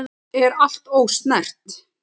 Er allt ósnert?